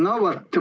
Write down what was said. No vot.